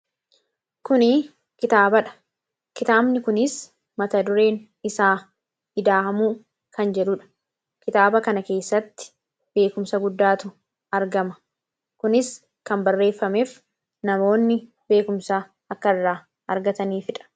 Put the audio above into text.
Kuni kitaabadha. Kitaabni kunis mata dureen isaa " ida'amuu" kan jedhudha. Kitaaba kana keessatti, beekkumsa guddaatu argama. Kunis kan barreeffameef namoonni beekumsa akka irraa argataniifidha.